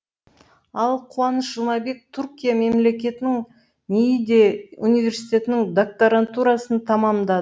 ал қуаныш жұмабек түркия мемлекетінің нийде университетінің докторантурасын тәмамдады